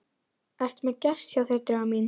Ertu með gest hjá þér, Drífa mín?